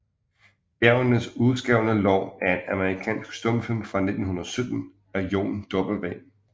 Bjergenes uskrevne Lov er en amerikansk stumfilm fra 1917 af John W